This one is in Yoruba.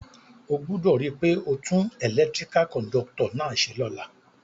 O gbúdò ri pe o tun electrical conductor náà se lóla